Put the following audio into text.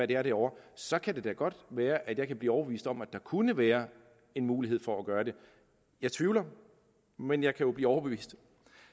det er derovre så kan det da godt være at jeg kan blive overbevist om at der kunne være en mulighed for at gøre det jeg tvivler men jeg kan jo blive overbevist